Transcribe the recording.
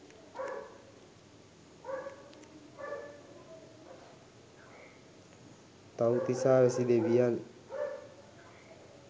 තව්තිසා වැසි දෙවියන්